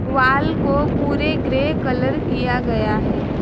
Wall को पूरे grey colour किया गया है।